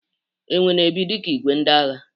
Enwe na-ebi dika igwe ndị agha.